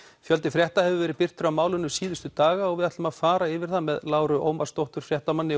fjöldi frétta hefur verið birtur af málinu síðustu daga og við ætlum að fara yfir það með Láru Ómarsdóttur